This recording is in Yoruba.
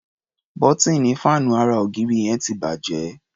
Bọ́tíìnì fáànù ara -ògiri yẹn ti bàjẹ́.